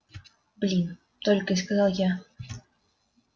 блин только и сказал я